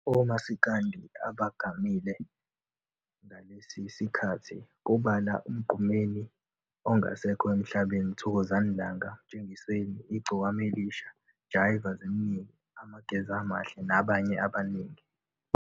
Omasikandi abagamile ngalesi sikhathi kubala Umgqumeni ongasekho emhlabeni, Thokozani Langa, Mtshengiseni, Igcokama Elisha, Jaiva Zimnike, Amageza Amahle nabanye abaningi.